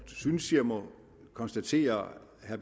synes jeg må konstatere at